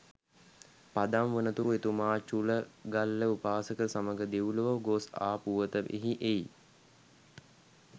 පදම් වනතුරු එතුමා චුලගල්ල උපාසක සමඟ දෙව්ලොව ගොස් ආ පුවත මෙහි එයි.